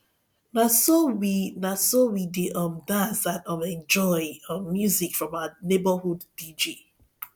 na so we na so we dey um dance and um enjoy um music from our neighborhood dj